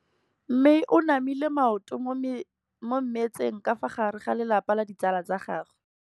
Mme o namile maoto mo mmetseng ka fa gare ga lelapa le ditsala tsa gagwe.